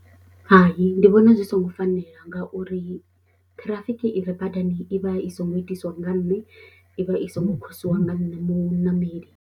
Hai, ndi vhona zwi songo fanela ngauri ṱhirafiki i re badani i vha i songo itiswa nga nṋe, i vha i songo khosiwa nga nṋe muṋameli.